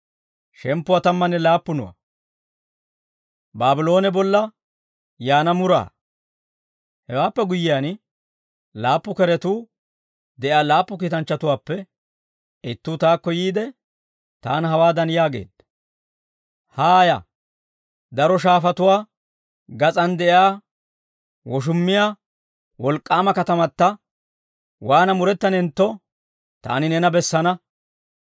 Hewaappe guyyiyaan, laappu keretuu de'iyaa laappu kiitanchchatuwaappe ittuu taakko yiide, taana hawaadan yaageedda; «Haaya; daro shaafatuwaa gas'aan de'iyaa woshummiyaa, wolk'k'aama katamata, waana murettanentto, taani neena bessana.